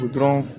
Dɔrɔn